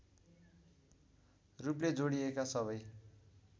रूपले जोडिएका सबै